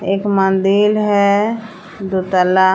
एक मंदिल है दू तल्ला।